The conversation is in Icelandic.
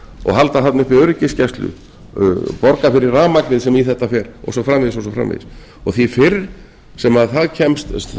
og halda þarna uppi öryggisgæslu borga fyrir rafmagnið sem í þetta fer og svo framvegis og því fyrr sem